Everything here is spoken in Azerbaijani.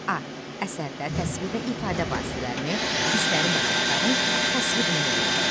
A. Əsərdə təsvir və ifadə vasitələrini, hisslərin və faktların təsvirini müəyyən et.